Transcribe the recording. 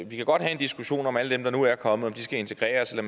vi kan godt have en diskussion om om alle dem der nu er kommet skal integreres eller